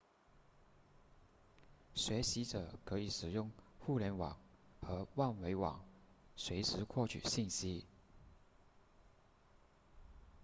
学习者可以使用互联网和万维网随时获取信息